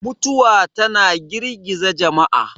mutuwa tana girgiza jama'a